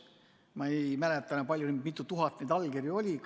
Ma ei mäleta enam, mitu tuhat neid allkirju oli.